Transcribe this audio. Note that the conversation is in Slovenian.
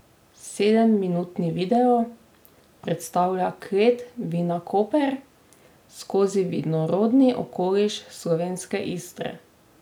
Sedemminutni video predstavlja klet Vinakoper skozi vinorodni okoliš slovenske Istre.